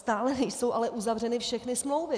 Stále nejsou ale uzavřeny všechny smlouvy.